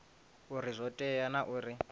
uri zwo tea naa uri